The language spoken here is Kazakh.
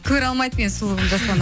көре алмайды менің сұлулығымды жасұлан